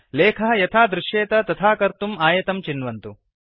लेखः यथा दृश्येत तथा कर्तुम् आयतं चिन्वन्तु